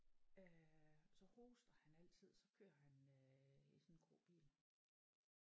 Øh så hoster han altid så kører han øh i sådan en grå bil